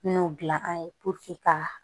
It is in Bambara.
N'o dilan an ye ka